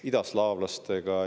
– idaslaavlastega.